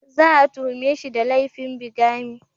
Za a tuhume shi da laifin bigamy.